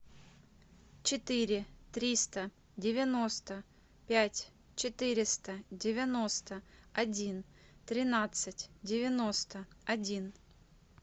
четыре триста девяносто пять четыреста девяносто один тринадцать девяносто один